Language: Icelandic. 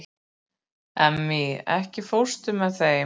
Emmý, ekki fórstu með þeim?